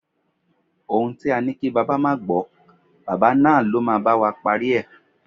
Ohún tí á ni kí bàbá ma gbó, bàbá náà lọ́ ma ba wa parí e